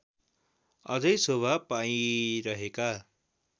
अझै शोभा पाइरहेका